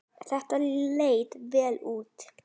Þetta leit vel út.